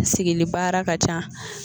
Sigili baara ka ca